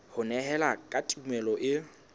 ho nehelana ka tumello e